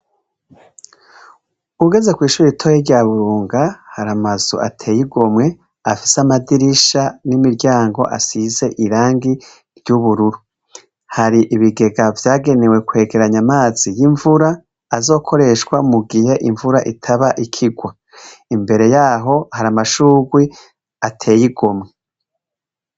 Ugeze kw’ishure ritoya rya Buronga hari amazu ateye igomwe afise amadirisha n’imiryango asize irangi ry’ubururu, hari ibigega vyagenewe kwegeranya amazi y’imvura azokoreshwa mugihe imvura itaba ikigwa, imbere yaho hari amashurwe ateye igomwe.